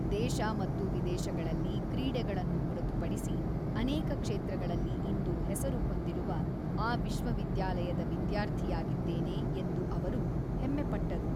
ದೇಶ ಮತ್ತು ವಿದೇಶಗಳಲ್ಲಿ ಕ್ರೀಡೆಗಳನ್ನು ಹೊರತುಪಡಿಸಿ ಅನೇಕ ಕ್ಷೇತ್ರಗಳಲ್ಲಿ ಇಂದು ಹೆಸರು ಹೊಂದಿರುವ ಆ ವಿಶ್ವವಿದ್ಯಾಲಯದ ವಿದ್ಯಾರ್ಥಿಯಾಗಿದ್ದೇನೆ ಎಂದು ಅವರು ಹೆಮ್ಮೆಪಟ್ಟರು.